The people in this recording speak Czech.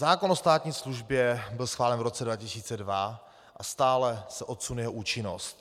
Zákon o státní službě byl schválen v roce 2002 a stále se odsunuje jeho účinnost.